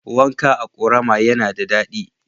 Wanka a ƙorama yana da daɗi.